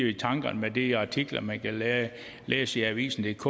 i tankerne med de artikler man kan læse i avisendk